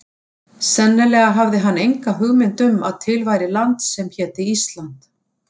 Sennilega hafði hann enga hugmynd um að til væri land sem héti ÍSLAND.